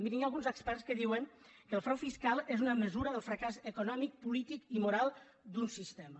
mirin hi ha alguns experts que di·uen que el frau fiscal és una mesura del fracàs econò·mic polític i moral d’un sistema